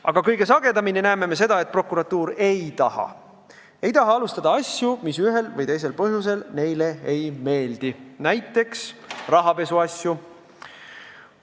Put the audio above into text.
Aga kõige sagedamini näeme seda, et prokuratuur ei taha: ta ei taha alustada asju, mis ühel või teisel põhjusel prokuratuurile ei meeldi, näiteks rahapesuasju.